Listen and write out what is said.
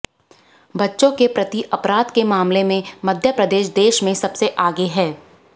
बच्चों के प्रति अपराध के मामले में मध्यप्रदेश देश में सबसे आगे है